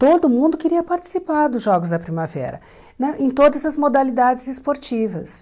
Todo mundo queria participar dos Jogos da Primavera né, em todas as modalidades esportivas.